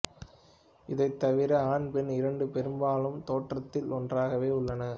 இதைத் தவிர ஆண் பெண் இரண்டும் பெரும்பாலும் தோற்றத்தில் ஒன்றாகவே உள்ளன